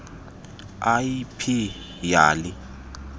l p yali